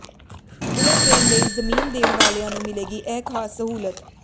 bullet train ਲਈ ਜ਼ਮੀਨ ਦੇਣ ਵਾਲਿਆਂ ਨੂੰ ਮਿਲੇਗੀ ਇਹ ਖਾਸ ਸਹੂਲਤ